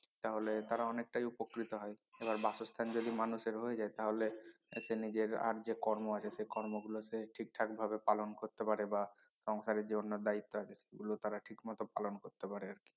তাহলে তারা অনেকটাই উপকৃত হয় এবার বাসস্থান যদি মানুষের হয়ে যায় তাহলে সে নিজের আর যে কর্ম আছে সে কর্ম গুলো সে ঠিকঠাক ভাবে পালন করতে পারে বা সংসারের যে অন্য দায়িত্ব আছে সেগুলো তারা ঠিক মত পালন করতে পারে আরকি